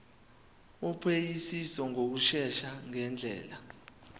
wophenyisiso ngokushesha ngendlela